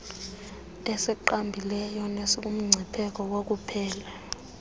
esinqabileyo nesikumngcipheko wokuphela